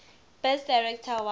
best director award